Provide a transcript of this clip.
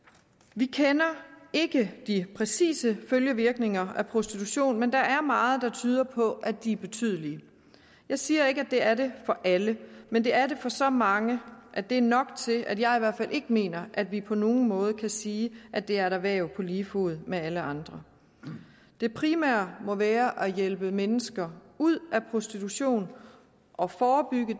vi kender ikke de præcise følgevirkninger af prostitution men der er meget der tyder på at de er betydelige jeg siger ikke at det er det for alle men det er det for så mange at det er nok til at jeg i hvert fald ikke mener at vi på nogen måde kan sige at det er et erhverv på lige fod med alle andre det primære må være at hjælpe mennesker ud af prostitution og forebygge